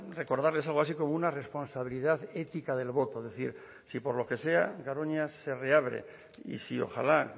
recordarles algo así como una responsabilidad ética del voto es decir si por lo que sea garoña se reabre y si ojala